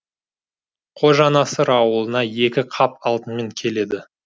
қожанасыр ауылына екі қап алтынмен келеді